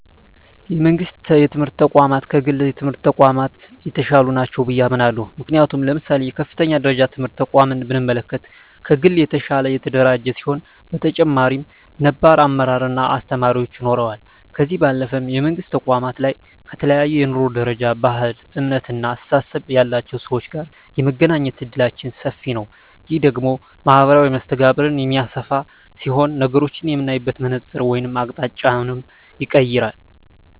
የመንግስት የትምህርት ተቋማት ከግል የትምህርት ተቋማት የተሻሉ ናቸው ብየ አምናለሁ። ምክንያቱም ለምሳሌ የከፍተኛ ደረጃ ትምህርት ተቋምን ብንመለከት ከግል የተሻለ የተደራጀ ሲሆን በተጨማሪም ነባር አመራር እና አስተማሪዎች ይኖረዋል። ከዚህ ባለፈም የመንግስት ተቋማት ላይ ከተለያየ የኑሮ ደረጃ፣ ባህል፣ እምነት እና አስተሳሰብ ያላቸው ሰወች ጋር የመገናኘት እድላችን ሰፊ ነዉ። ይህ ደግሞ ማህበራዊ መስተጋብርን የሚያሰፋ ሲሆን ነገሮችን የምናይበትን መነፀር ወይም አቅጣጫንም ይቀየራል።